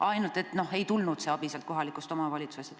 Ainult et seda abi ei tulnud kohalikust omavalitsusest.